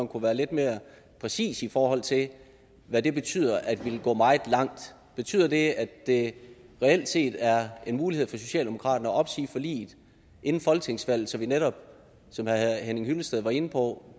kunne være lidt mere præcis i forhold til hvad det betyder at ville gå meget langt betyder det at det reelt set er en mulighed for socialdemokraterne at opsige forliget inden folketingsvalget så vi netop som herre henning hyllested var inde på